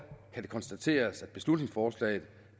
kan det konstateres at beslutningsforslaget